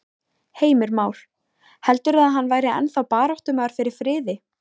Heimir Már: Heldurðu að hann væri ennþá baráttumaður fyrir friði?